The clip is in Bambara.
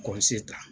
ta